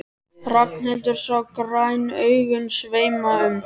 Ragnhildur sá græn augun sveima um.